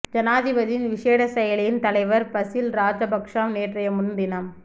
ஐனாதிபதியின் விஷேட செயலனியின் தலைவர் பசீல் ராஐபக்ச நேற்றைய முன் தினம்